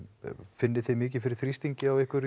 finnið þið mikið fyrir þrýstingi á ykkur